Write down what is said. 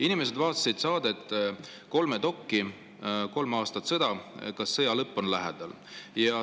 Inimesed vaatasid saadet "KolmeDok: 3 aastat sõda – kas sõja lõpp on lähedal?".